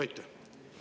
Aitäh!